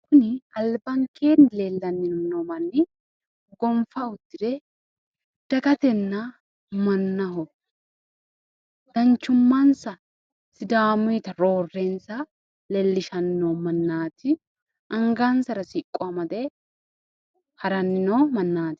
Kuni albankeenni leellanni noo manni gonfa uddire dagatenna mannaho danchummansa sidaamuyita roorrensa leellishanni noo mannaati. Angansara siqqo amade haranni noo mannaati.